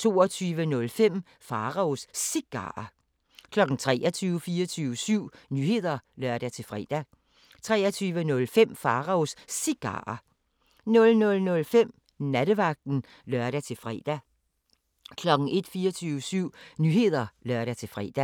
22:05: Pharaos Cigarer 23:00: 24syv Nyheder (lør-fre) 23:05: Pharaos Cigarer 00:05: Nattevagten (lør-fre) 01:00: 24syv Nyheder (lør-fre)